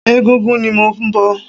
Ẹgúngún ni mò ń bọ̀.